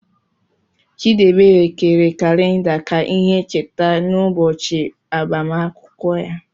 Chidiebere kere kalida ka ihe ncheta n'ụbọchị agbamakwụkwọ ya.